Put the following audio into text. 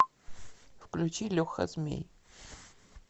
включи леха змей